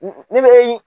Ne bɛ